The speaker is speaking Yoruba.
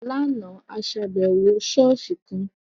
Láàna, a ṣàbẹwò ṣọ̀ọ́sì kan.